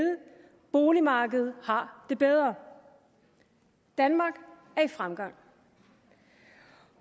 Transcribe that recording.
boligmarkedet har det bedre danmark er i fremgang